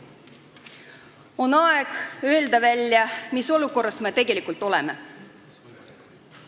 On aeg öelda välja, mis olukorras me tegelikult oleme.